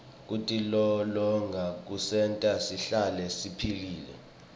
kutilolonga kusenta sihlale siphilile